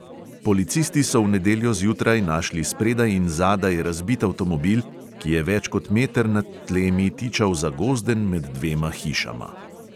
Policisti so v nedeljo zjutraj našli spredaj in zadaj razbit avtomobil, ki je več kot meter nad tlemi tičal zagozden med dvema hišama.